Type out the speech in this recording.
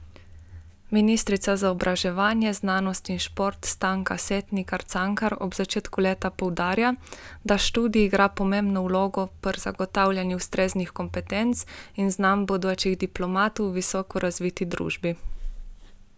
Ministrica za izobraževanje, znanost in šport Stanka Setnikar Cankar ob začetku leta poudarja, da študij igra pomembno vlogo pri zagotavljanju ustreznih kompetenc in znanj bodočih diplomantov v visoko razviti družbi.